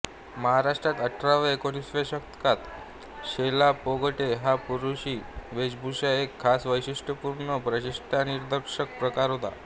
महाराष्ट्रात अठराव्याएकोणिसाव्या शतकांत शेलापागोटे हा पुरूषी वेशभूषेचा एक खास वैशिष्ट्यपूर्ण व प्रतिष्ठानिदर्शक प्रकार होता